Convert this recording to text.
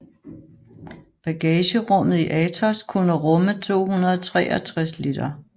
Bagagerummet i Atos kunne rumme 263 liter